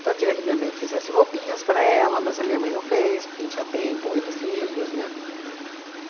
Então, eu queria que minha mãe fizesse roupinhas para ela, mas a minha mãe não fez, porque não tinha tempo, oito filhos, né?